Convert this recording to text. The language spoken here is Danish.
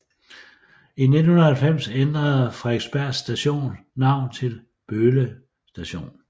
I 1990 ændrede Fredriksbergs station navn til Böle station